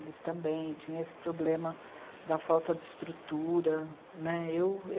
Eles também tinham esse problema da falta de estrutura né. Eu